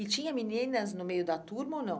E tinha meninas no meio da turma ou não?